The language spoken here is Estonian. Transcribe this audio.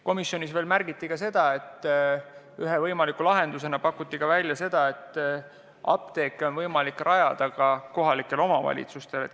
Komisjonis märgiti ka seda, ühe võimaliku lahendusena pakuti välja, et apteeke on võimalik asutada ka kohalikel omavalitsustel.